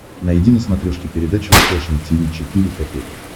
найди на смотрешке передачу фэшн ти ви четыре ка